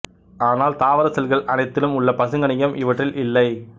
ஆனால் தாவர செல்கள் அனைத்திலும் உள்ள பசுங்கணிகம் இவற்றில் இல்லை